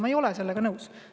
Ma ei ole sellega nõus.